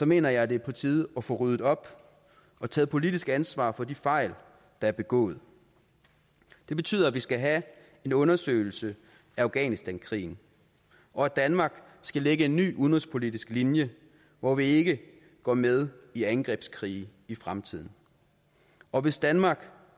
mener jeg det er på tide at få ryddet op og taget politisk ansvar for de fejl der er begået det betyder at vi skal have en undersøgelse af afghanistankrigen og at danmark skal lægge en ny udenrigspolitisk linje hvor vi ikke går med i angrebskrige i fremtiden og hvis danmark